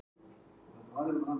Kemur þetta þér á óvart?